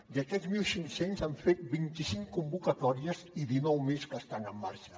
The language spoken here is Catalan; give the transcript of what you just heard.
d’aquests mil cinc cents s’han fet vint i cinc convocatòries i dinou més que estan en marxa